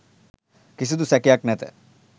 කිසිදු සැකයක් නැත.